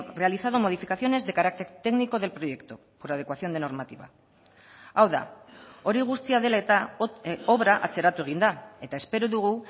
realizado modificaciones de carácter técnico del proyecto por adecuación de normativa hau da hori guztia dela eta obra atzeratu egin da eta espero dugu